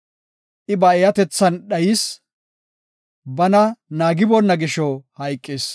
I ba eeyatethan dhayis; bana naagiboonna gisho hayqis.